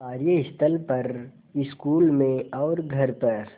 कार्यस्थल पर स्कूल में और घर पर